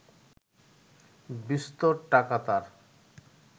বিস্তর টাকা তার